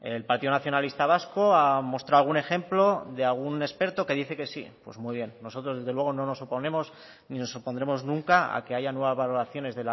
el partido nacionalista vasco ha mostrado algún ejemplo de algún experto que dice que sí pues muy bien nosotros desde luego no nos oponemos ni nos opondremos nunca a que haya nuevas valoraciones